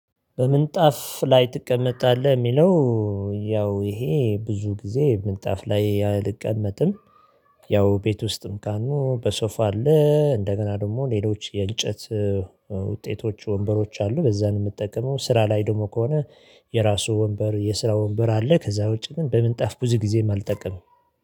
በምንጣፍ ላይ ትቀመጣለህ የሚለው? ያው ይሄ ብዙ ጊዜ ምንጣፍ ላይ አልቀመጥም። ያው ቤት ውስጥም ካልኑ በሶፋ አለ እንደገና ደግሞ ሌሎች የእንጨት ውጤቶች ወንበሮች አሉ በዛ ነው። የምጠቀመው ስራ ላይ ደግሞ ከሆነ የራሱ ወንበር የስራ ወንበር አለ። ከዛ ውጪ ግን በምንጣፍ ብዙ ጊዜም አልጠቀምም